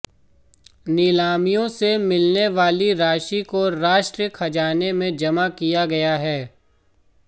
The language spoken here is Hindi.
नीलामियों से मिलने वाली राशि को राष्ट्रीय खजाने में जमा किया गया है